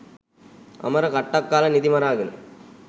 අමර කට්ටක් කාල නිදි මරාගෙන